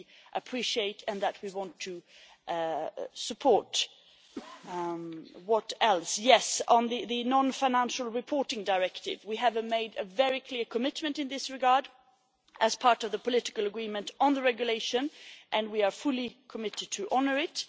We appreciate this and want to support it. On the Non financial Reporting Directive, we have made a very clear commitment in this regard as part of the political agreement on the regulation, and we are fully committed to honouring it.